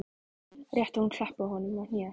Rétt og hún klappaði honum á hnéð.